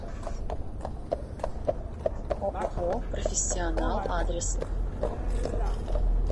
ооо профессионал адрес